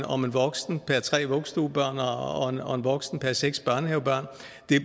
om en voksen per tre vuggestuebørn og og en voksen per seks børnehavebørn